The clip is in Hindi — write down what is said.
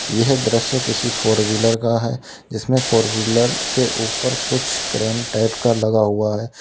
यह दृश्य किसी फोर व्हीलर का है जिसमें फोर व्हीलर के ऊपर कुछ क्रेन टाइप का लगा हुआ है।